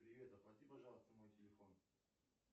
привет оплати пожалуйста мой телефон